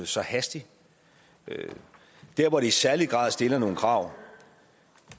så hastig der hvor det i særlig grad stiller nogle krav